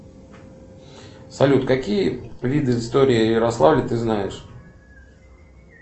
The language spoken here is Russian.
салют какие виды истории ярославля ты знаешь